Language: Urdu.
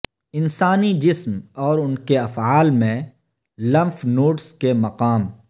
انسانی جسم اور ان کے افعال میں لمف نوڈس کے مقام